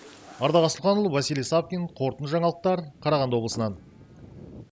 ардақ асылханұлы василий савкин қорытынды жаңалықтар қарағанды облысынан